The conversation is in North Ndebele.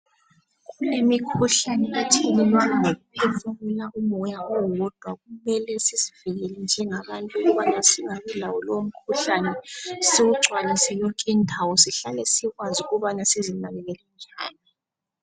Kulemikhuhlane ethelelwana ngokuphefumula umoya owodwa . Kumele sizivikele njengabantu ukubana singabi lawo lowo mkhuhlane siwungcwaliswe yonke indawo sihlale sikwazi ukuba sizinakekele njani.